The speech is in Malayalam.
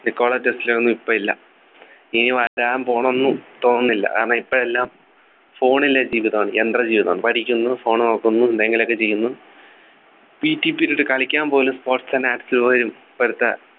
നിക്കോള ടെസ്ല ഒന്നും ഇപ്പൊ ഇല്ല ഇനി വരാൻ പോണൊന്നും തോന്നുന്നില്ല കാരണം ഇപ്പൊ എല്ലാം Phone ലെ ജീവിതമാണു യന്ത്ര ജീവിതമാണ് പഠിക്കുന്നു Phone നോക്കുന്നു എന്തെങ്കിലുമൊക്കെ ചെയ്യുന്നു ptperiod കളിയ്ക്കാൻ പോലും sports nd arts പോലും ഇപ്പളത്തെ